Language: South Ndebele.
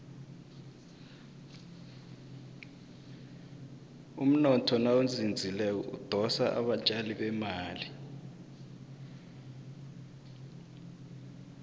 umnotho nawuzinzileko udosa abatjali bemali